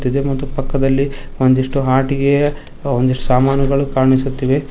ದೆ ಮತ್ತು ಪಕ್ಕದಲ್ಲಿ ಒಂದಿಷ್ಟು ಆಟಿಕೆಯ ಒಂದಿಷ್ಟು ಸಾಮಾನುಗಳು ಕಾಣಿಸುತ್ತಿವೆ.